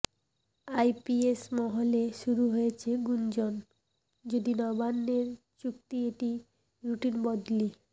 IPS মহলে শুরু হয়েছে গুঞ্জন যদি নবান্নের যুক্তি এটি রুটিন বদলি